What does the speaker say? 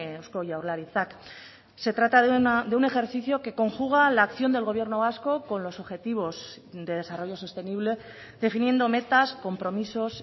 eusko jaurlaritzak se trata de un ejercicio que conjuga la acción del gobierno vasco con los objetivos de desarrollo sostenible definiendo metas compromisos